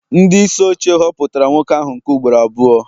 ndị isi oche họpụtara nwoke ahụ nke ugboro abụọ